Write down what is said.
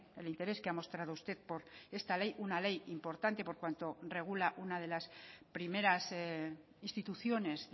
el interés que ha mostrado usted por esta ley una ley importante por cuanto regula una de las primeras instituciones